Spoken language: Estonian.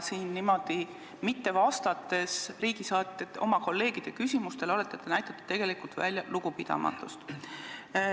Siin niimoodi mitte vastates oma kolleegide küsimustele näitate te tegelikult välja lugupidamatust.